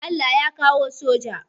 Allah ya kawo soja